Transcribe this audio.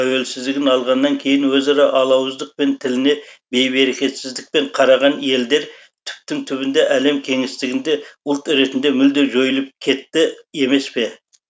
тәуелсіздігін алғаннан кейін өзара алауыздық пен тіліне бейберекетсіздікпен қараған елдер түптің түбінде әлем кеңістігінде ұлт ретінде мүлде жойылып кетті емес пе